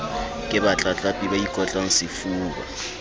ke batlatlapi ba ikotlang sefuba